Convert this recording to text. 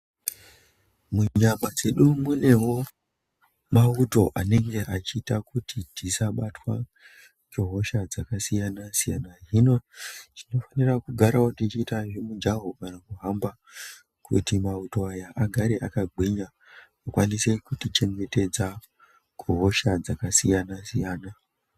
Munyama dzedu munewo mawuto anenge achiita kuti tisabatwa ngehosha dzakasiyana siyana hino tinofanira kugarawo tichiita zvemujaho kana kuhamba kuti mawuto aya agare akagwinya akwanise kutichengetdza kuhosha dzakasiyana siyana.